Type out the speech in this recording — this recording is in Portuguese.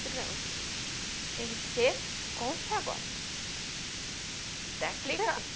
Tem que ser como está agora.